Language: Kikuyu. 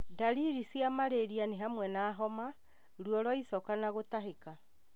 Ndariri cia Marĩria nĩ hamwe na homa, ruo rwa icoka na gũtahĩka